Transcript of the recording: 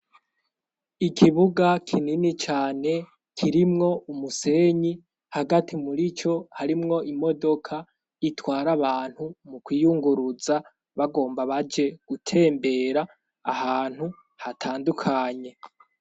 Ikibuga kinini cane kirimwo umusenyi hagati muri co harimwo imodoka itwara abantu mu kwiyunguruza bagomba baje gutembera ahantu hatandukanye.